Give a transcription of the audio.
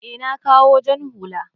e, na kawo jan hullan.